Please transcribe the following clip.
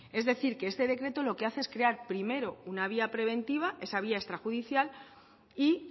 es decir que este decreto lo que hace es crear primero una vía preventiva esa vía extrajudicial y